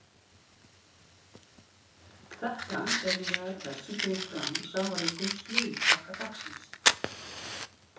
Þetta er meðal þess sem kemur fram í safaríkum slúðurpakka dagsins.